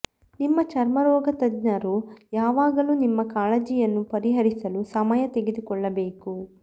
ನಿಮ್ಮ ಚರ್ಮರೋಗ ತಜ್ಞರು ಯಾವಾಗಲೂ ನಿಮ್ಮ ಕಾಳಜಿಯನ್ನು ಪರಿಹರಿಸಲು ಸಮಯ ತೆಗೆದುಕೊಳ್ಳಬೇಕು